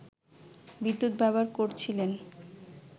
বিদ্যুৎ ব্যবহার করছিলেন